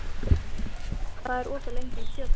Heiðbert, hvað er opið lengi í Kjötborg?